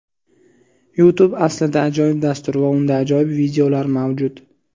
Youtube aslida ajoyib dastur va unda ajoyib videolar mavjud.